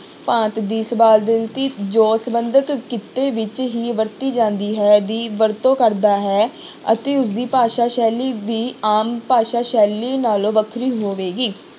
ਭਾਂਤ ਦੀ ਜੋ ਸੰਬੰਧਿਤ ਕਿੱਤੇ ਵਿੱਚ ਹੀ ਵਰਤੀ ਜਾਂਦੀ ਹੈ ਦੀ ਵਰਤੋਂ ਕਰਦਾ ਹੈ ਅਤੇ ਉਸਦੀ ਭਾਸ਼ਾ ਸ਼ੈਲੀ ਵੀ ਆਮ ਭਾਸ਼ਾ ਸ਼ੈਲੀ ਨਾਲੋਂ ਵੱਖਰੀ ਹੋਵੇਗੀ।